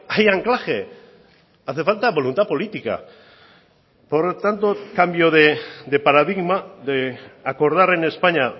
hay anclaje hace falta voluntad política por lo tanto cambio de paradigma de acordar en españa